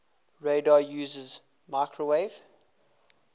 radar uses microwave